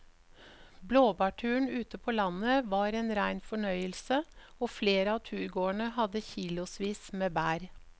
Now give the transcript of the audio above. Blåbærturen ute på landet var en rein fornøyelse og flere av turgåerene hadde kilosvis med bær.